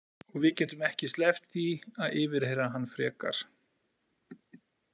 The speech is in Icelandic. Og við getum ekki sleppt því að yfirheyra hann frekar.